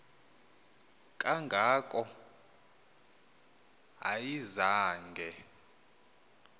kanga ko ayizange